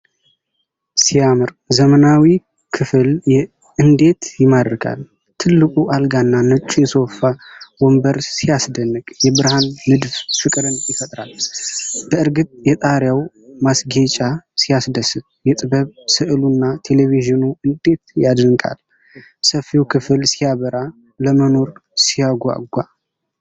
ሲያምር! ዘመናዊው ክፍል እንዴት ይማርካል! ትልቁ አልጋና ነጩ የሶፋ ወንበር ሲያስደንቅ! የብርሃን ንድፍ ፍቅርን ይፈጥራል! በእርግጥ የጣሪያው ማስጌጫ ሲያስደስት! የጥበብ ሥዕሉና ቴሌቪዥኑ እንዴት ይደነቃል! ሰፊው ክፍል ሲያበራ! ለመኖር ሲያጓጓ!